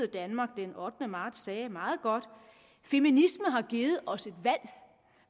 danmark den ottende marts sagde det meget godt feminisme har givet os et valg